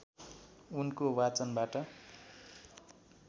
उनको वाचनबाट